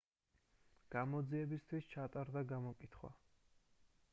გამოძიებისთვის ჩატარდა გამოკითხვა